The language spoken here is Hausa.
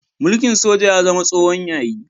Mulkin soja ya zama tsohon yayi.